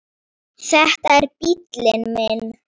Þetta er bíllinn minn